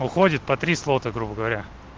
уходит по три слота грубо говоря